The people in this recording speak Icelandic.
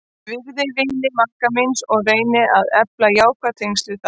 Ég virði vini maka míns og reyni að efla jákvæð tengsl við þá.